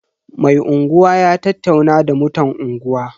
Mai unguwa ya tattauna da mutan unguwa.